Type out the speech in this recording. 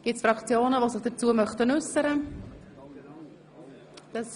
Gibt es Fraktionen, die sich dazu äussern möchten?